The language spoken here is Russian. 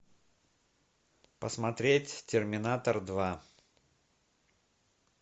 посмотреть терминатор два